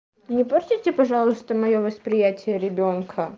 не портите пожалуйста моё восприятие ребёнка